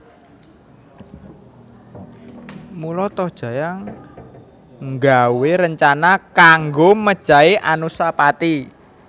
Mula Tohjaya nggawé rencana kanggo mejahi Anusapati